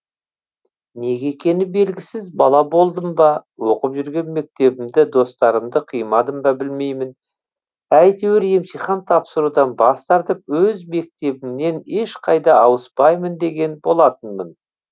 неге екені белгісіз бала болдым ба оқып жүрген мектебімді достарымды қимадым ба білмеймін әйтеуір емтихан тапсырудан бас тартып өз мектебімнен ешқайда ауыспаймын деген болатынмын